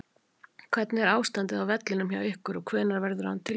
Hvernig er ástandið á vellinum hjá ykkur og hvenær verður hann tilbúinn?